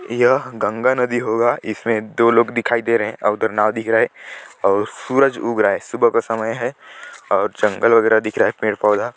यह गंगा नदी होगा इसमें दो लोग दिखाई दे रहे है उधर नाव दिख रहा है और सूरज उग रहा है सुबह का समय है और जंगल वगैरह दिख रहा है पेड़-पौधा --